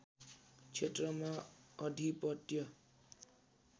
क्षेत्रमा अधिपत्य